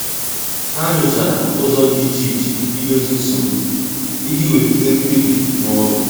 Há nyòchàrà ụ́zọ́ dị́ iche iche ídòzì nsogbu iji wèlíté mkpebi n’ụ́lọ́.